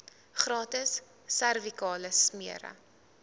gratis servikale smere